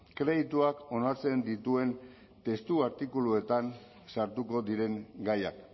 kredituak onartzen dituen testu artikuluetan sartuko diren gaiak